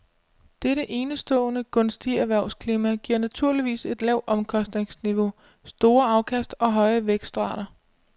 Dette enestående gunstige erhvervsklima giver naturligvis et lavt omkostningsniveau, store afkast og høje vækstrater.